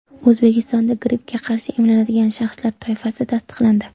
O‘zbekistonda grippga qarshi emlanadigan shaxslar toifasi tasdiqlandi.